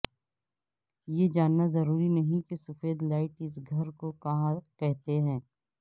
یہ جاننا ضروری نہیں کہ سفید لائٹ اس گھر کو کہاں کہتے ہیں